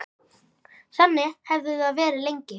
Þannig hefði það verið lengi.